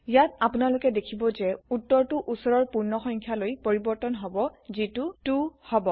ইয়াত আপোনালোকে দেখিব যে উত্তৰটো ওচৰৰ পূৰ্ণ সংখ্যালৈ পৰিবৰ্তন হব যিটো 2 হব